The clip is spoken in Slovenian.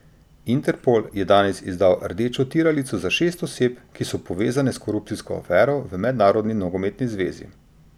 Interpol je danes izdal rdečo tiralico za šest oseb, ki so povezane z korupcijsko afero v mednarodni nogometni zvezi.